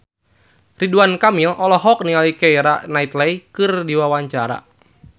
Ridwan Kamil olohok ningali Keira Knightley keur diwawancara